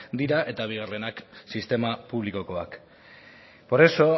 dira eta bigarrenak sistema publikokoak por eso